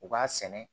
U b'a sɛnɛ